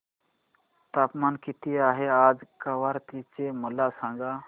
तापमान किती आहे आज कवारत्ती चे मला सांगा